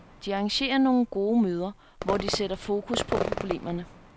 De arrangerer nogle gode møder, hvor de sætter fokus på problemerne.